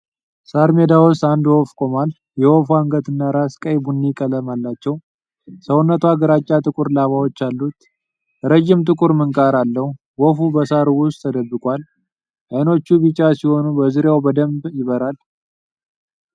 ሣር ሜዳ ውስጥ አንድ ወፍ ቆሟል። የወፏ አንገት እና ራስ ቀይ ቡኒ ቀለም አላቸው። ሰውነቷ ግራጫ ጥቁር ላባዎች አሉት። ረዥም ጥቁር ምንቃር አለው። ወፉ በሣሩ ውስጥ ተደብቋል። ዐይኖቹ ቢጫ ሲሆኑ በዙሪያው በደንብ ይብራል።